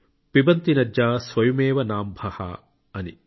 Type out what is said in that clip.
పిబంతి నద్యః స్వయమేవ నాంభః అని